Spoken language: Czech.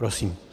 Prosím.